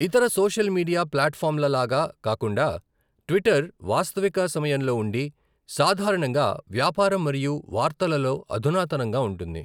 ఇతర social media ప్లాట్ఫాంల లాగా కాకుండా, ట్విట్టర్ వాస్తవిక సమయంలో ఉండి సాధారణంగా వ్యాపారం మరియు వార్తలలో అధునాతనంగా ఉంటుంది.